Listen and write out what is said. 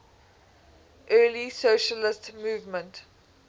early socialist movement